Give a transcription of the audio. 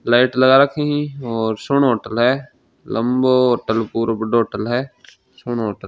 Light लगा रखी है और सुनो होटल है लंबों होटल पूरो बड़ों होटल है सुनो होटल ।